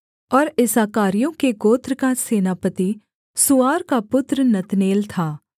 और इस्साकारियों के गोत्र का सेनापति सूआर का पुत्र नतनेल था